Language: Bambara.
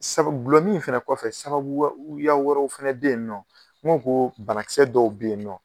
Sabu gulɔmin in fɛnɛ kɔfɛ sababu ya wɛrɛw fɛnɛ be yen n'o ko banakisɛ dɔw be yen nɔ.